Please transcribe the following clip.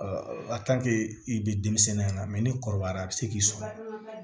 i bɛ denmisɛnnin ya mɛ ni kɔrɔbayara a bɛ se k'i sɔrɔ